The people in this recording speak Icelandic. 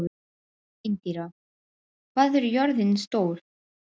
Indíra, hvað er jörðin stór?